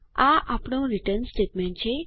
આ આપણું return statement છે